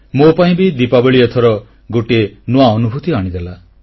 ମୋ ପାଇଁ ବି ଦୀପାବଳୀ ଏଥର ଗୋଟିଏ ନୂଆ ଅନୁଭୂତି ଆଣିଦେଲା